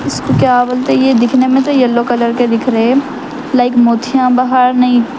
اس کو کیا بولتے یہ دکھنے میں تو یلو کلر کے دکھ رہے ہیں لائک موتیاں باہر نہیں--